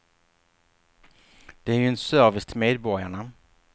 Det är ju en service till medborgarna.